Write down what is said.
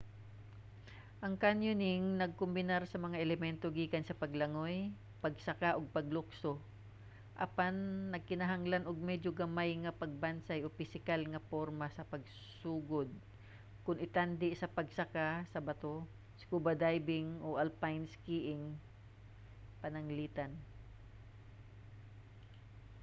ang canyoning nagkombinar sa mga elemento gikan sa paglangoy pagsaka ug paglukso--apan nagkinahanglan og medyo gamay nga pagbansay o pisikal nga porma sa pagsugod kon itandi sa pagsaka sa bato scuba diving o alpine skiing pananglitan